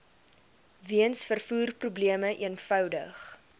weens vervoerprobleme eenvoudig